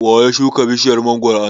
waya shuka bishiyar mangwaro a nan?